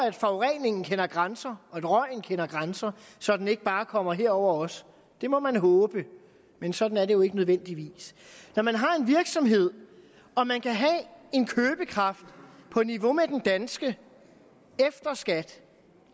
at forureningen kender grænser og at røgen kender grænser så den ikke bare kommer herover også det må man håbe men sådan er det jo ikke nødvendigvis når man har en virksomhed og man kan have en købekraft på niveau med den danske efter skat